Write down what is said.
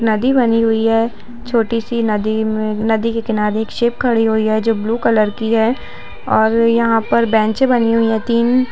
नदी बनी हुई है छोटी-सी नदी में नदी के किनारे शिप खड़ी हुई है जो ब्लू कलर की है और यहा पर बेंच बनी हुई है तीन--